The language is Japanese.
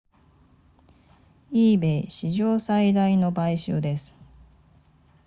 ebay 史上最大の買収です